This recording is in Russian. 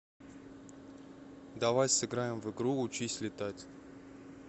давай сыграем в игру учись летать